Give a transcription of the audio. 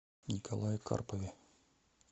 николае карпове